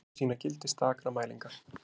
Deplarnir sýna gildi stakra mælinga.